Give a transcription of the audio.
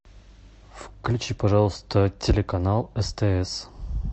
включи пожалуйста телеканал стс